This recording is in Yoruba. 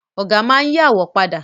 Ọ̀gá máa n yí àwo padà